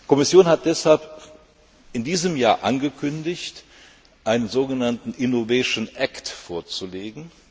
Die Kommission hat deshalb in diesem Jahr angekündigt, einen so genannten Innovation Act vorzulegen.